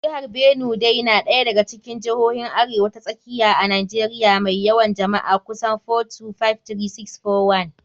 Jihar Benue dai na daya daga cikin jihohin Arewa ta Tsakiya a Najeriya mai yawan jama'a kusan 4,253,641.